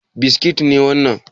Biskit ne wannan?